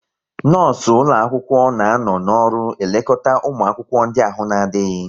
Nọọsụ ụlọ akwụkwọ na anọ n'ọrụ elekọta ụmụ akwụkwọ ndị ahụ na-adịghị